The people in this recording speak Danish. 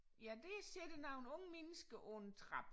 Ja der sidder nu en ung menneske på en trappe